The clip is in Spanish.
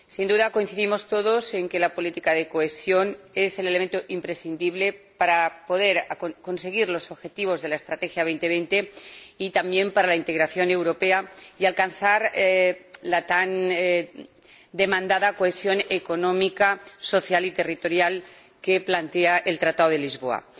Sin duda coincidimos todos en que la política de cohesión es el elemento imprescindible para conseguir los objetivos de la Estrategia 2020, y también para lograr la integración europea y alcanzar la tan demandada cohesión económica, social y territorial que plantea el Tratado de Lisboa.